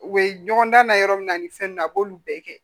U bɛ ɲɔgɔn dan na yɔrɔ min na ni fɛn ninnu a b'olu bɛɛ kɛ